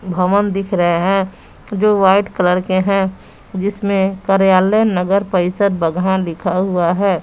भवन दिख रहे हैं जो वाइट कलर के हैं जिसमें कार्यालय नगर परिषद बगहा लिखा हुआ है।